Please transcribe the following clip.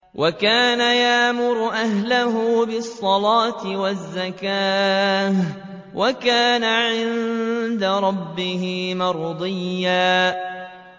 وَكَانَ يَأْمُرُ أَهْلَهُ بِالصَّلَاةِ وَالزَّكَاةِ وَكَانَ عِندَ رَبِّهِ مَرْضِيًّا